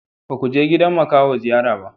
Ba ku je gidan makaho ziyara ba?